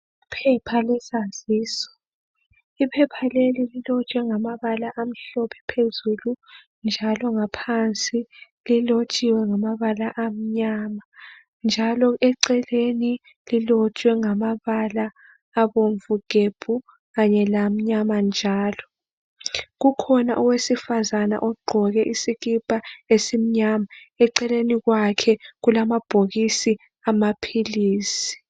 Iphepha lesaziso, iphepha leli lilotshwe ngamabala amhlophe phezulu njalo ngaphansi lilotshwe ngamabala amnyama njalo eceleni lilotshwe ngamabala abomvu gebhu kanye lamnyama njalo, kukhona owesifazana ogqoke isikhipha esimnyama eceleni kwakhe kulama bhokisi ama philizi.